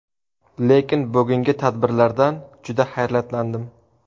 Lekin bugungi tadbirlardan juda hayratlandim.